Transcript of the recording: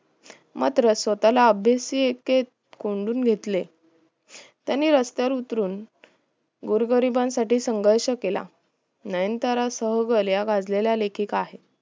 मात्र स्वः ला अभ्यासिके कोंडून घेतले त्यांनी रस्त्यावर उतरून गोरगरिबांना साठी संघर्ष केला नयन तारा सहगल या गाजलेल्या लेखिका आहेत